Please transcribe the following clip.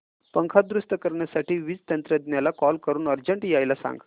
पंखा दुरुस्त करण्यासाठी वीज तंत्रज्ञला कॉल करून अर्जंट यायला सांग